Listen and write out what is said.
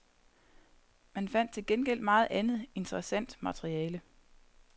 Man fandt til gengæld meget andet, interessant materiale.